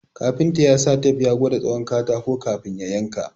Kafinta ya sa tep ya gwada tsawon katakon ka fin ya yanka